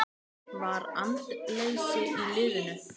Var andleysi í liðinu?